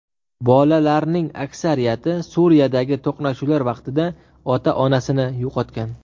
Bolalarning aksariyati Suriyadagi to‘qnashuvlar vaqtida ota-onasini yo‘qotgan.